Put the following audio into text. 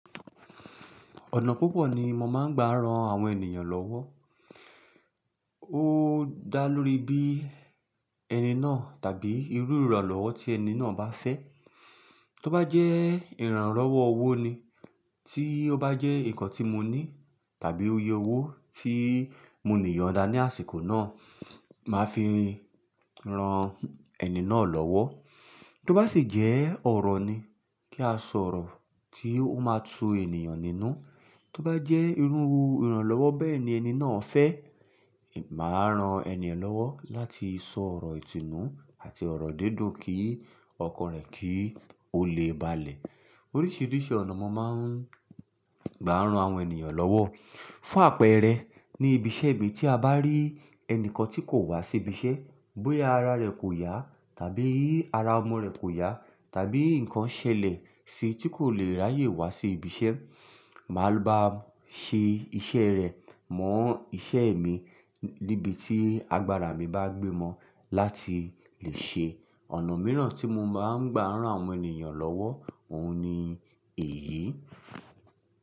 Ọ̀nà púpọ̀ ni mo máa ń gbà ran àwọn ènìyàn lọ́wọ́. Ó dá lórí bí ẹni náà tàbí irú ìrànlọ́wọ́ tí ẹni náà bá fẹ́. Tó bá jẹ́ ìrànlowo ọwọ́ ni, tí ó bá jẹ́ nǹkan tí mo ní tàbí òye owó tí mo ní yọnda ní àsìkò náà, màá fi ran ẹni náà lọ́wọ́. Tó bá sì jẹ́ ọ̀rọ̀ ni, kí a sọ ọ̀rọ̀ tí ó máa tu ènìyàn nínú. Tó bá jẹ́ irú ìrànlọ́wọ́ bẹ́ẹ̀ ni ẹni náà fẹ́, màá ran ènìyen lọ́wọ́ láti sọ ọ̀rọ̀ ìtínú àti ọ̀rọ̀ dídùn kí ọkan rẹ̀ kí ó lè balẹ̀. Oríṣiríṣi ọ̀nà mo máa ń gbà ran àwọn ènìyàn lọ́wọ́. Fún àpẹẹrẹ, ní ibiṣẹ́ mi tí a bá rí ẹnìkan tí kò wá sí ibiṣẹ́, bóyá ara rẹ̀ kò yá tàbí ara ọmọ rẹ̀ kò yá tàbí ǹkan ṣẹlẹ̀ sí i tí kò le ráyè wá sí ibiṣẹ́, màá lọ bá ṣe iṣẹ́ rẹ̀ mọ́ iṣẹ́ mi níbi tí agbára mi bá gbé ọ mọ́ láti lè ṣe. Ọ̀nà mìíràn tí mo má ń gbà ran àwọn ènìyàn lọ́wọ́, òun ni èyí.